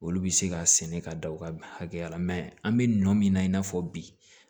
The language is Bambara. Olu bɛ se ka sɛnɛ ka da u ka hakɛya la an bɛ nɔ min na i n'a fɔ bi